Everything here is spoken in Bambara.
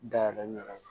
Dayɛlɛ n yɛrɛ ye